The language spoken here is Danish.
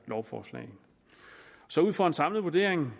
lovforslag ud fra en samlet vurdering